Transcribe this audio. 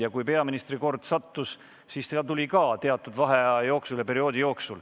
Ja kui peaministri kord teatud vaheaja järel tuli, siis ta vastas ka.